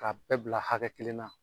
K'a bɛɛ bila hakɛ kelen na